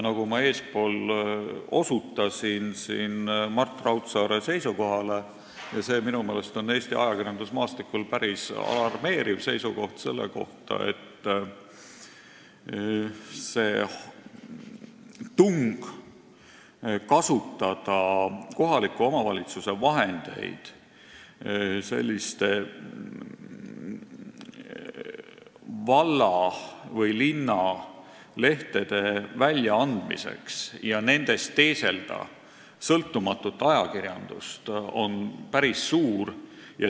Eespool osutasin Mart Raudsaare seisukohale, mis on minu meelest Eesti ajakirjandusmaastikul päris alarmeeriv, selle kohta, et tung kasutada kohaliku omavalitsuse vahendeid, et anda välja valla- või linnalehti ja teeselda nendes sõltumatut ajakirjandust, on päris suur.